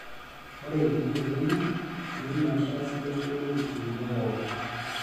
Ore itii oldonyo, itum erishata sidai nidolie umurua pookin.